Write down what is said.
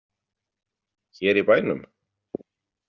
Hér í bænum?